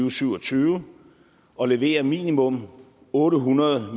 og syv og tyve og levere minimum otte hundrede